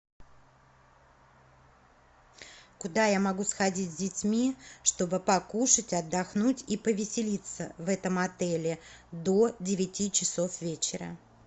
куда я могу сходить с детьми чтобы покушать отдохнуть и повеселиться в этом отеле до девяти часов вечера